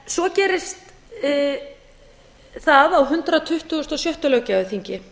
svo gerist það á hundrað tuttugasta og sjötta löggjafarþingi